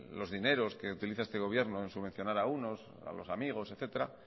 los dineros que utiliza este gobierno en subvencionar a unos a los amigos etcétera